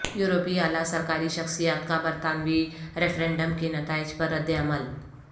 یورپی اعلی سرکاری شخصیات کا برطانوی ریفرنڈم کے نتائج پر رد عمل